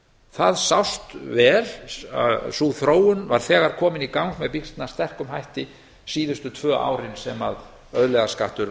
það sást vel sú þróun var vel komin í gang með býsna sterkum hætti síðustu tvö árin sem auðlegðarskattur